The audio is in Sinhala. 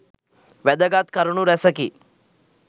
වැදගත් කරුණු රැසකි.